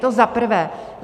To za prvé.